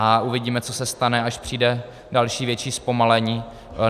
A uvidíme, co se stane, až přijde další větší zpomalení.